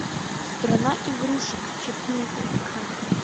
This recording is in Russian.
страна игрушек четыре ка